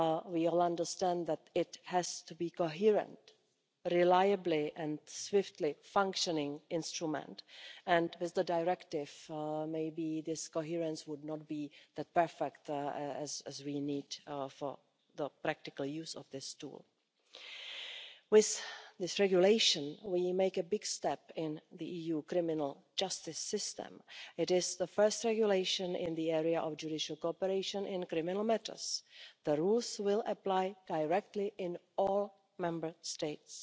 We all understand that it has to be a coherent, reliable and swiftly functioning instrument and with the directive maybe this coherence would not have been as perfect as we need for the practical use of this tool. With this regulation, we take a big step in the EU criminal justice system. It is the first regulation in the area of judicial cooperation in criminal matters. The rules will apply directly in all Member States.